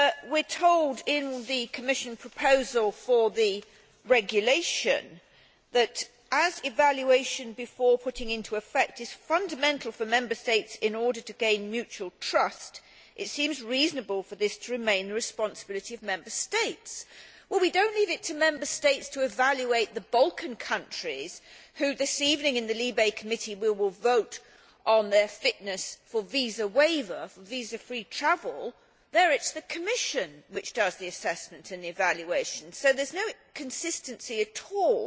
We are told in the Commission proposal for the regulation that as evaluation before putting into effect is fundamental for Member States in order to gain mutual trust, it seems reasonable for this to remain the responsibility of Member States'. But we do not leave it to Member States to evaluate the Balkan countries, for which this evening the Committee on Civil Liberties, Justice and Home Affairs will vote on their fitness for visa waiver, for visa free travel it is the Commission which does the assessment and evaluation, so there is no consistency at all